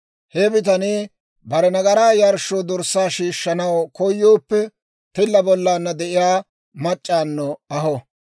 « ‹He bitanii bare nagaraa yarshshoo dorssaa shiishshanaw koyooppe, tilla bollaanna de'iyaa mac'c'awunno aho.